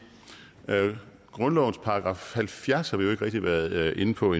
grundlovens § halvfjerds har vi rigtig været inde på